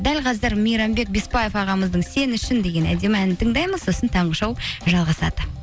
дәл қазір мейрамбек беспаев ағамыздың сен үшін деген әдемі әнін тыңдаймыз сосын таңғы шоу жалғасады